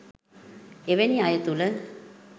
එවැනි අය තුළ